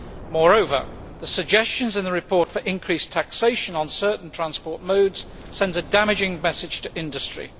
Moreover, the suggestions in the report for increased taxation on certain transport modes send a damaging message to industry.